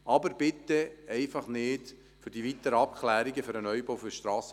Aber bitte keine Verschiebung für die weiteren Abklärungen für den Neubau des SVSA!